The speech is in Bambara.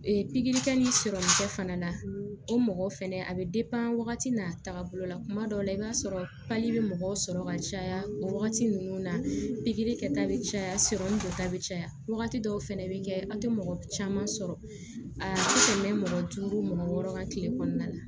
pikiri kɛ ni sɔrɔ fana la o mɔgɔ fɛnɛ a bɛ wagati n'a taaga bolo la kuma dɔw la i b'a sɔrɔ bɛ mɔgɔ sɔrɔ ka caya o wagati ninnu na pikiri kɛta bɛ caya dɔ ta bɛ caya wagati dɔw fana bɛ kɛ an tɛ mɔgɔ caman sɔrɔ a tɛmɛ mɔgɔ duuru mɔgɔ wɔɔrɔ kan kile kɔnɔna la